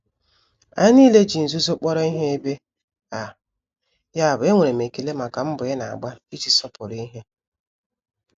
Anyị niile ji nzuzo kpọrọ ihe ebe a, yabụ enwere m ekele maka mbọ ị na-agba iji sọpụrụ ihe.